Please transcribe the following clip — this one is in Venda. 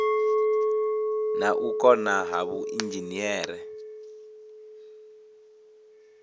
na u kona ha vhuinzhinere